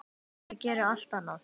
Ég geri allt annað.